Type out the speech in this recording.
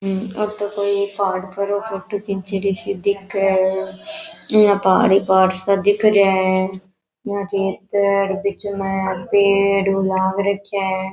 ये तो कोई पहाड़ फोटो खींचीड़ी सी दिखे है यहाँ पहाड़ ही पहाड़ सा दिख रेहा है या खेतर बीच मा पेड़ लाग रखया है।